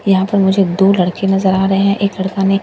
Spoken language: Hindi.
यहां पर मुझे दो लड़के नजर आ रहे हैं एक लड़का ने --